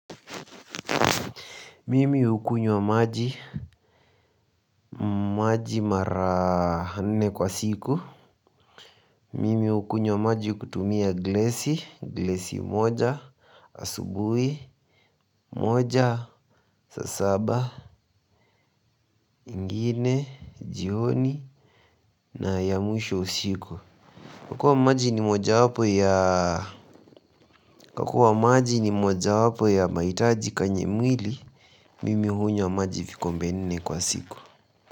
Mimi hukunywa maji, maji mara nne kwa siku. Mimi hukunywa maji kutumia glesi, glesi moja, asubui, moja, saa saba, ingine, jioni, na ya mwisho usiku. Kwa kuwa maji ni mojawapo ya, kwa kuwa maji ni mojawapo ya mahitaji kanye mwili, mimi hunywa maji vikombe nne kwa siku.